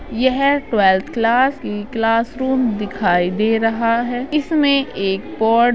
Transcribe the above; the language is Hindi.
यह ट्वेल्वेथ क्लास क्लासरूम दिखाई दे रहा है। इसमे एक बोर्ड --